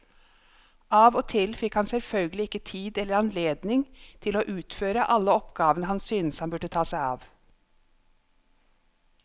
Av og til fikk han selvfølgelig ikke tid eller anledning til å utføre alle oppgavene han syntes han burde ta seg av.